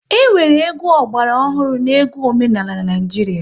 E nwere egwu ọgbara ọhụrụ na egwu omenala n'Naijiria